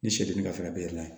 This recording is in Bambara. Ni sɛ dun ni ka fɛn bɛ yɛlɛma